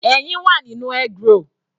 Ẹyin wà nínú eggroll.